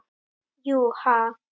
Jú. ha?